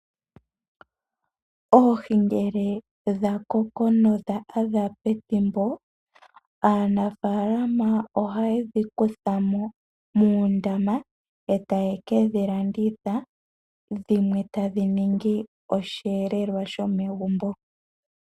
Oohi ngele dha koko no dha adha pethimbo, aanafaalama oha ye dhi kutha mo muundama e ta ye ke dhi landitha, dhimwe tadhi ningi osheelelwa shomegumbo.